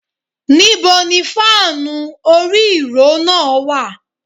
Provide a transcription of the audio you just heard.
Níbo ni fáànù orí - ìró náà wà.?